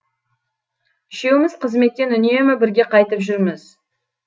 үшеуміз қызметтен үнемі бірге қайтып жүрміз